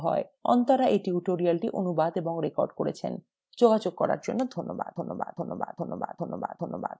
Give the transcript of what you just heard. অন্তরা এই tutorial অনুবাদ এবং রেকর্ড করেছেন